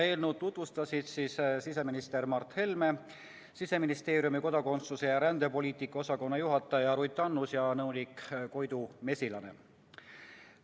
Eelnõu tutvustasid siseminister Mart Helme, Siseministeeriumi kodakondsus- ja rändepoliitika osakonna juhataja Ruth Annus ja nõunik Koidu Mesilane.